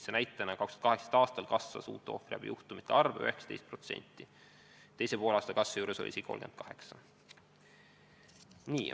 2018. aastal kasvas ohvriabijuhtumite arv 19%, teisel poolaastal isegi 38.